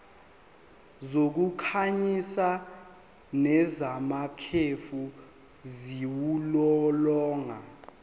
zokukhanyisa nezamakhefu ziwulolonga